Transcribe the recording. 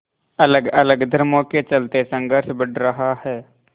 अलगअलग धर्मों के चलते संघर्ष बढ़ रहा है